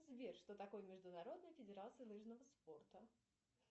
сбер что такое международная федерация лыжного спорта